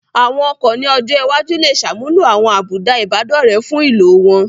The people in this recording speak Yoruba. Àwọn ọkọ̀ ní ọjọ́ iwájú lè ṣàmúlò àwọn àbùdá Ìbádọ́rẹ̀ẹ́ fún ìlò wọn